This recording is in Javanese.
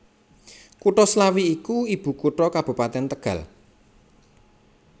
Kutha Slawi iku ibukutha Kabupatèn Tegal